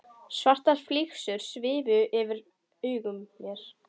Svartar flygsur svifu fyrir augum mér.